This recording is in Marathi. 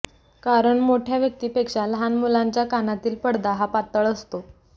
कारण मोठ्या व्यक्तीपेक्षा लहान मुलांच्या कानातील पडदा हा पातळ असतो